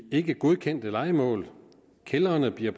ikkegodkendte lejemål kældrene bliver